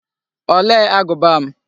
Olee agụba m?